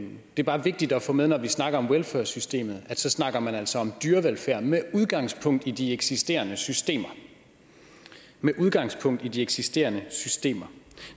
er bare vigtigt at få med at når vi snakker om welfur systemet så snakker man altså om dyrevelfærd med udgangspunkt i de eksisterende systemer med udgangspunkt i de eksisterende systemer